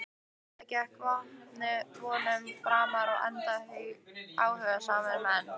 Það gekk vonum framar enda áhugasamir menn.